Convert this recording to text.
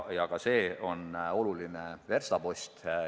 Ka see on oluline verstapost.